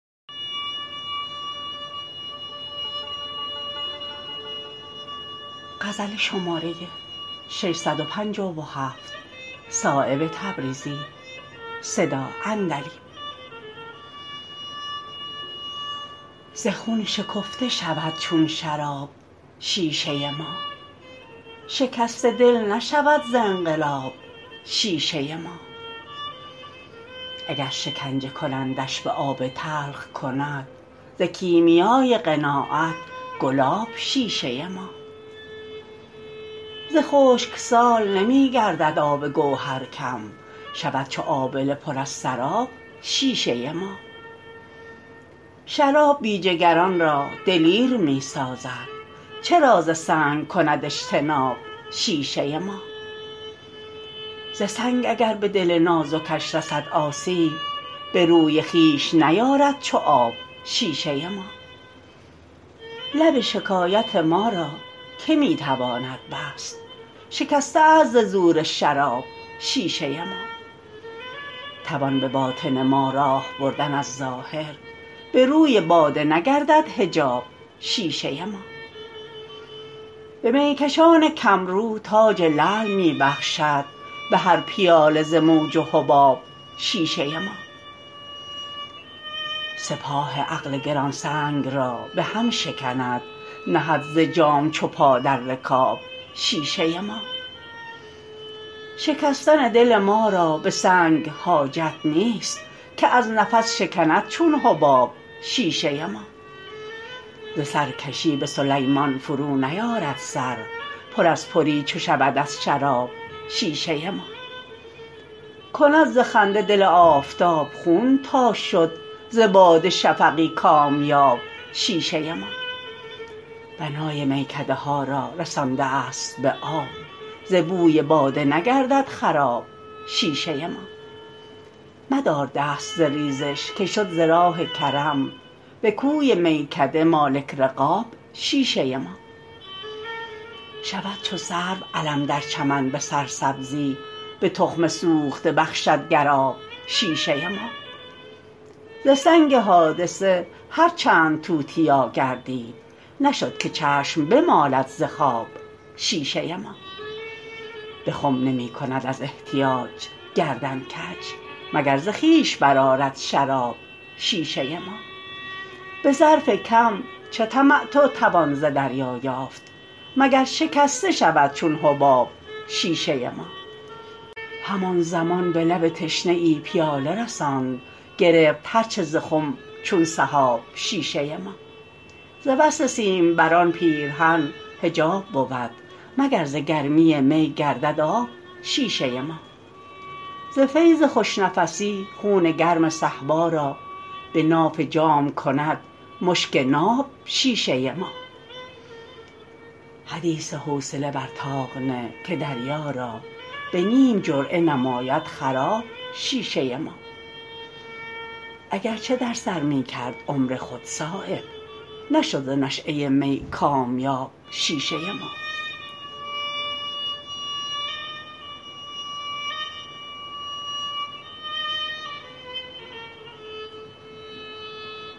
ز خون شکفته شود چون شراب شیشه ما شکسته دل نشود ز انقلاب شیشه ما اگر شکنجه کنندش به آب تلخ کند ز کیمیای قناعت گلاب شیشه ما ز خشکسال نمی گردد آب گوهر کم شود چو آبله پر از سراب شیشه ما شراب بی جگران را دلیر می سازد چرا ز سنگ کند اجتناب شیشه ما ز سنگ اگر به دل نازکش رسد آسیب به روی خویش نیارد چو آب شیشه ما لب شکایت ما را که می تواند بست شکسته است ز زور شراب شیشه ما توان به باطن ما راه بردن از ظاهر به روی باده نگردد حجاب شیشه ما به میکشان کمرو تاج لعل می بخشد به هر پیاله ز موج و حباب شیشه ما سپاه عقل گرانسنگ را به هم شکند نهد ز جام چو پا در رکاب شیشه ما شکستن دل ما را به سنگ حاجت نیست که از نفس شکند چون حباب شیشه ما ز سرکشی به سلیمان فرو نیارد سر پر از پری چو شود از شراب شیشه ما کند ز خنده دل آفتاب خون تا شد ز باده شفقی کامیاب شیشه ما بنای میکده ها را رسانده است به آب ز بوی باده نگردد خراب شیشه ما مدار دست ز ریزش که شد ز راه کرم به کوی میکده مالک رقاب شیشه ما شود چو سرو علم در چمن به سرسبزی به تخم سوخته بخشد گر آب شیشه ما ز سنگ حادثه هر چند توتیا گردید نشد که چشم بمالد ز خواب شیشه ما به خم نمی کند از احتیاج گردن کج مگر ز خویش برآرد ز شراب شیشه ما به ظرف کم چه تمتع توان ز دریا یافت مگر شکسته شود چون حباب شیشه ما همان زمان به لب تشنه ای پیاله رساند گرفت هر چه ز خم چون سحاب شیشه ما ز وصل سیمبران پیرهن حجاب بود مگر ز گرمی می گردد آب شیشه ما ز فیض خوش نفسی خون گرم صهبا را به ناف جام کند مشک ناب شیشه ما حدیث حوصله بر طاق نه که دریا را به نیم جرعه نماید خراب شیشه ما اگر چه در سر می کرد عمر خود صایب نشد ز نشأه می کامیاب شیشه ما